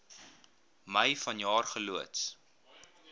mei vanjaar geloods